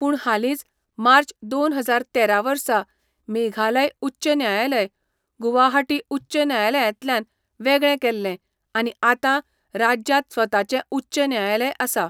पूण हालींच मार्च दोन हजार तेरा वर्सा मेघालय उच्च न्यायालय गुवाहाटी उच्च न्यायालयांतल्यान वेगळें केल्लें आनी आतां राज्यांत स्वताचें उच्च न्यायालय आसा.